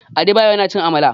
Adebayo yana cin Amala.